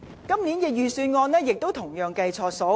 今年預算案同樣錯估盈餘。